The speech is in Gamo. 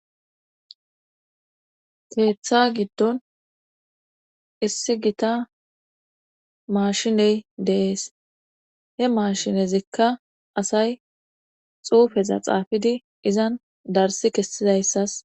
heeththa giddon issi gita maashiney deees he maashinezikka asay xuufeza xaafidi izan darsi kessidayssas